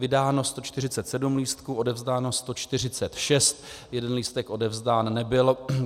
Vydáno 147 lístků, odevzdáno 146, jeden lístek odevzdán nebyl.